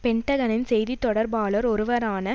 பென்டகனின் செய்தி தொடர்பாளர் ஒருவரான